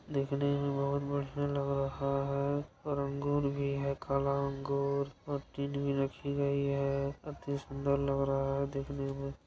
देखने में बहोत बढ़िया लग रहा है और अंगूर भी है काला अंगूर और चीज़ भी रखी गई है अति सुन्दर लग रहा है देखने में।